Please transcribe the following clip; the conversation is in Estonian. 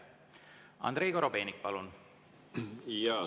Andrei Korobeinik, palun!